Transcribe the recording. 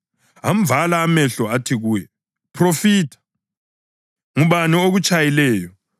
Amvala amehlo athi kuye, “Phrofitha! Ngubani okutshayileyo?”